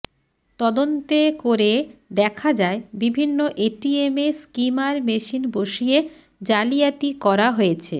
তদন্তে করে দেখা যায় বিভিন্ন এটিএমে স্কিমার মেশিন বসিয়ে জালিয়াতি করা হয়েছে